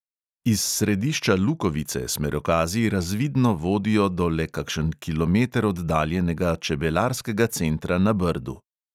Iz središča lukovice smerokazi razvidno vodijo do le kakšen kilometer oddaljenega čebelarskega centra na brdu.